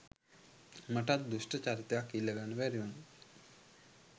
මටත් දුෂ්ඨ චරිතයක් ඉල්ලගන්න තිබුනා